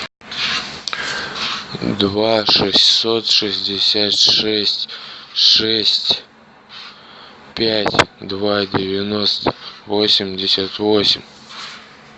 два шестьсот шестьдесят шесть шесть пять два девяносто восемьдесят восемь